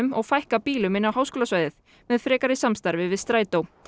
og fækka bílum inn á háskólasvæðið með frekara samstarfi við Strætó